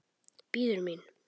Bíður mín.